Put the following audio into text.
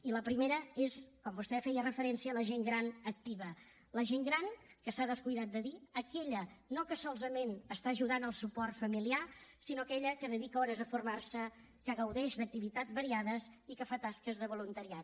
i la primera és com vostè hi feia referència la gent gran activa la gent gran que s’ha descuidat de dir aquella no que solament està ajudant al suport familiar sinó aquella que dedica hores a formar se que gaudeix d’activitat variades i que fa tasques de voluntariat